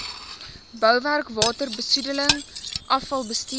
bouwerk waterbesoedeling afvalbestuur